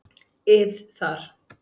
ið þar.